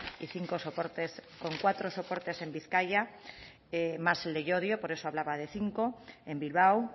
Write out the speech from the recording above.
y cinco soportes con cuatro soportes en bizkaia más el de llodio por eso hablaba de cinco en bilbao